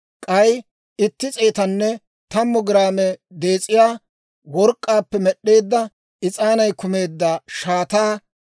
k'ay itti s'eetanne tammu giraame dees'iyaa work'k'aappe med'd'eedda is'aanay kumeedda shaataa;